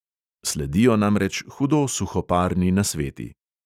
Sledijo namreč hudo suhoparni nasveti.